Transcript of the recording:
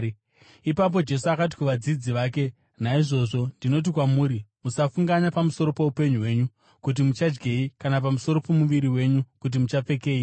Ipapo Jesu akati kuvadzidzi vake, “Naizvozvo ndinoti kwamuri, musafunganya pamusoro poupenyu hwenyu, kuti muchadyei, kana pamusoro pomuviri wenyu, kuti muchapfekei.